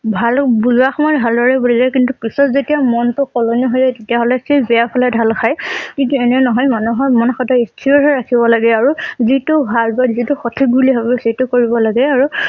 ভালুক বুজোৱা সময়ত ভালদৰে বুজাই কিন্তু পিছত যেতিয়া মনটো সলনি হৈ তেতিয়া হলে সেই বেয়াৰ ফালে ঢাল খায়। কিন্তু এনে নহয় মানুহৰ মন সদাই স্থিৰ হৈ ৰাখিব লগে আৰু যিটো ভাল বা যিটো সঠিক বুলি ভাবে সেইটো কৰিব লাগে আৰু